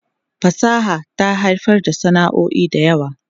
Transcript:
Fasaha ta haifar da sana'o'i da yawa.